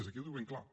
aquí ho diu ben clar